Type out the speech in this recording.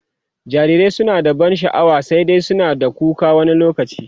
jarirai suna da ban sha'wa, sai dai Kuma suna da kuka wani lokaci